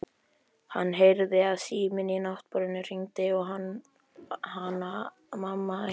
Hann heyrði að síminn á náttborðinu hringdi og Hanna-Mamma æpti